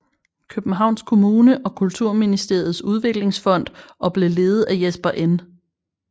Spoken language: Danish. Københavns Kommune og Kulturministeriets Udviklingsfond og blev ledet af Jesper N